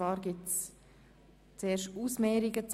Zuerst nehmen wir die Ausmehrungen vor: